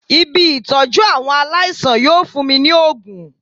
Ibi Ìtọ́jú àwọn aláìsàn yóò fún mi ní ògùn.